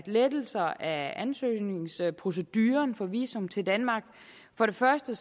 lettelser af ansøgningsproceduren for visum til danmark for det første